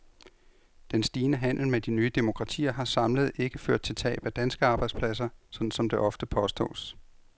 Den stigende handel med de nye demokratier har samlet ikke ført til tab af danske arbejdspladser, sådan som det ofte påstås.